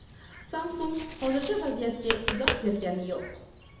Samsung hozircha vaziyatga izoh bergani yo‘q.